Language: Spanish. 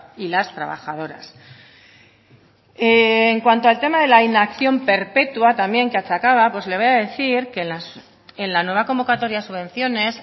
y las trabajadoras en cuanto al tema de la inacción perpetua también que achacaba pues le voy a decir que en la nueva convocatoria de subvenciones